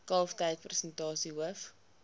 kalftyd persentasie hoof